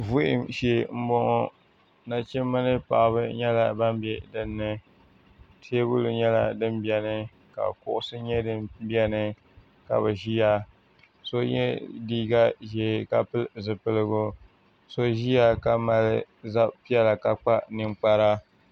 Vuhim shee m boŋɔ nachimba ni paɣaba nyɛla ban be dinni teebuli nyɛla din biɛni ka kuɣusi nyɛ din biɛni ka bɛ ʒia so yw liiga ʒee ka pili zipiligu so ʒia ka mali zab'piɛlla ka kpa ninkpara.